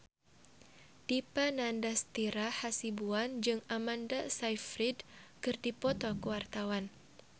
Dipa Nandastyra Hasibuan jeung Amanda Sayfried keur dipoto ku wartawan